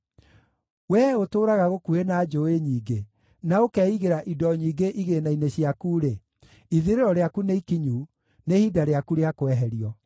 Wee ũtũũraga gũkuhĩ na njũũĩ nyingĩ, na ũkeigĩra indo nyingĩ igĩĩna-inĩ ciaku-rĩ, ithirĩro rĩaku nĩ ikinyu, nĩ ihinda rĩaku rĩa kweherio.